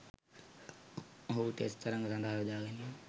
ඔහුව ටෙස්ට් තරඟ සදහා යොදාගැනිම